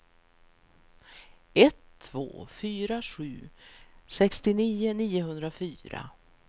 ett två fyra sju sextionio niohundrafyra